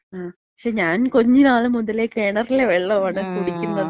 മ്, ക്ഷേ, ഞാൻ കുഞ്ഞ്നാള് മുതലേ കെണറിലെ വെള്ളാണ് കുടിക്കുന്നത്.